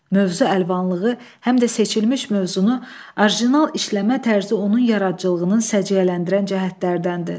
Mövzu əlvanlığı həm də seçilmiş mövzunu orijinal işləmə tərzi onun yaradıcılığının səciyyələndirən cəhətlərdəndir.